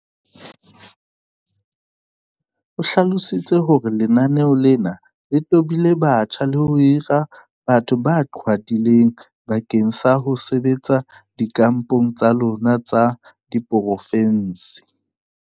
o hlalositse hore lenaneo lena le tobile batjha le ho hira batho ba qhwadileng bakeng sa ho sebetsa dikampong tsa lona tsa diporofense.